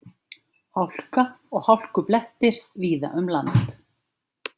Hálka og hálkublettir víða um land